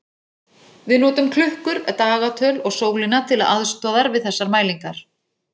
Við notum klukkur, dagatöl og sólina til aðstoðar við þessar mælingar.